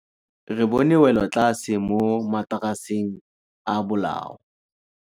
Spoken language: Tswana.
Re bone wêlôtlasê mo mataraseng a bolaô.